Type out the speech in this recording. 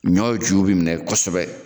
Ɲɔ ju bi minɛ kɔsɔbɛ